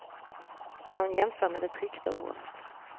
Han jämför med det tryckta ordet.